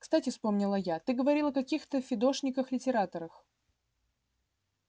кстати вспомнила я ты говорил о каких-то фидошниках-литераторах